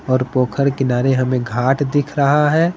और पोखर किनारे हमें घाट दिख रहा है।